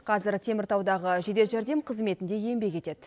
қазір теміртаудағы жедел жәрдем қызметінде еңбек етеді